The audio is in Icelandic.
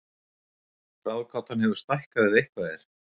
Ráðgátan hefur stækkað ef eitthvað er